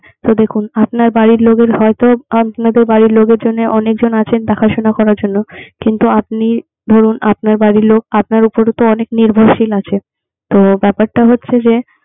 এ দেখুন আপনার বাড়ির লোকের হয়তো আপনাদের বাড়ির লোকের জন্য অনেকজন আছে দেখাশুনা করার জন্য। কিন্তু, আপনি ধরুন, আপনার বাড়ির লোক আপনার উপর অনেক নির্ভরশীল আছে। তো ব্যাপারটা হচ্ছে যে